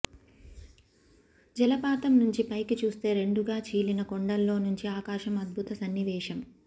జలపాతం నుంచి పైకి చూస్తే రెండుగా చీలిన కొండల్లోనుంచి ఆకాశం అద్భుత సన్నివేశం